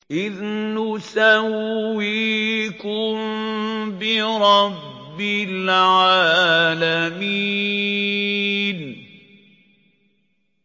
إِذْ نُسَوِّيكُم بِرَبِّ الْعَالَمِينَ